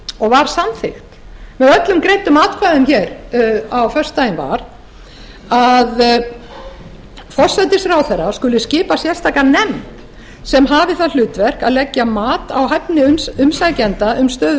og var samþykkt með öllum greiddum atkvæðum á föstudaginn var að forsætisráðherra skuli skipa sérstaka nefnd sem hafi það hlutverk að leggja mat á hæfni umsækjenda um stöðu